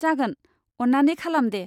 जागोन। अन्नानै खालाम दे!